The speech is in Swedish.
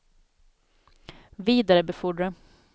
vidarebefordra